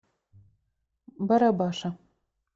барабаша